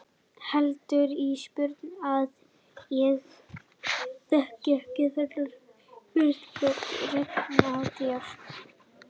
Heldurðu Ísbjörg að ég þekki ekki þennan fyrirlitningartón í röddinni á þér?